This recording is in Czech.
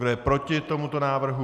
Kdo je proti tomuto návrhu?